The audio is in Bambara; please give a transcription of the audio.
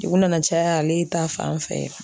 Juru nana caya ale ta fan fɛ.